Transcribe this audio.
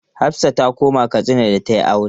Hafsah ta koma Katsina da ta yi aure.